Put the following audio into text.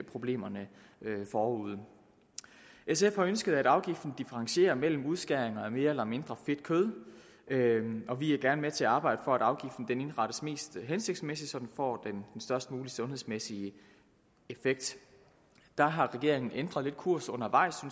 problemer der lå forude sf har ønsket at afgiften differentierer mellem udskæringer af mere eller mindre fedt kød og vi er gerne med til at arbejde for at afgiften indrettes mest hensigtsmæssigt så den får den størst mulige sundhedsmæssige effekt der har regeringen lidt ændret kurs undervejs